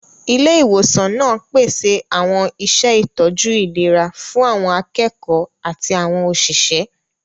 Ilé ìwòsàn náà pèsè àwọn iṣẹ́ ìtọ́jú ìlera fún àwọn akẹ́kọ̀ọ́ àti àwọn òṣìṣẹ́.